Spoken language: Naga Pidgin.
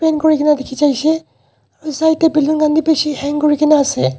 kurikaena dikhijai shey edu side tae balloon khan bi bishi hang kurikaena ase--